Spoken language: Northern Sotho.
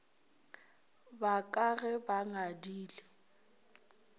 ba ka ge ba ngadile